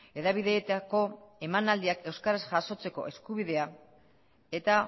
hedabideetako emanaldiak euskaraz jasotzeko eskubidea eta